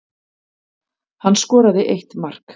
Hann skoraði eitt mark